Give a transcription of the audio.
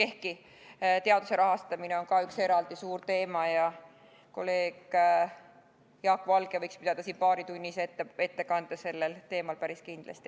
Ehkki teaduse rahastamine on ka üks eraldi suur teema ja kolleeg Jaak Valge võiks pidada siin paaritunnise ettekande sellel teemal, päris kindlasti.